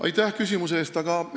Aitäh küsimuse eest!